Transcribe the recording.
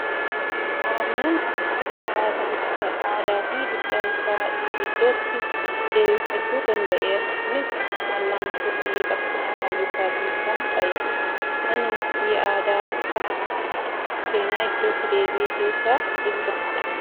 Oromiyaan waggoota muraasan booda aadaa fi duudhaa isaa iddootti deebifachuu danda'eera. Kunis wal'aansoo fi qabsoo hayyootaatiin kan ta'edha. Manni murtii aadaa saba Oromoo seenaa iddootti deebi'e keessaa isa tokko dha.